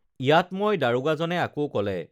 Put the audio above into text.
ইয়াত ম‍ই দাৰোগা জনে আকৌ কলে